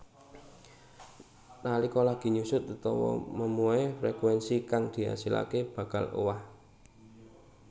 Nalika lagi nyusut utawa memuai frekuénsi kang diasilaké bakal owah